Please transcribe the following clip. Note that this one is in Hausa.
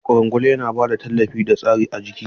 Ƙwarangwal yana ba da tallafi da tsari ga jiki.